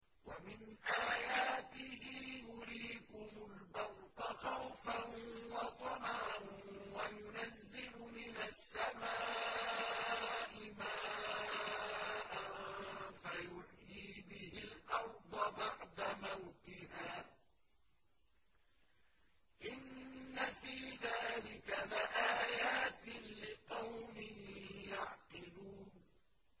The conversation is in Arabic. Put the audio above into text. وَمِنْ آيَاتِهِ يُرِيكُمُ الْبَرْقَ خَوْفًا وَطَمَعًا وَيُنَزِّلُ مِنَ السَّمَاءِ مَاءً فَيُحْيِي بِهِ الْأَرْضَ بَعْدَ مَوْتِهَا ۚ إِنَّ فِي ذَٰلِكَ لَآيَاتٍ لِّقَوْمٍ يَعْقِلُونَ